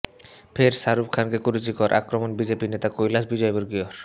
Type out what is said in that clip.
ফের শাহরুখ খানকে কুরুচিকর আক্রমণ বিজেপি নেতা কৈলাশ বিজয়বর্গীয়র